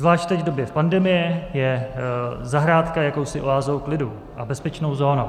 Zvlášť teď v době pandemie je zahrádka jakousi oázou klidu a bezpečnou zónou.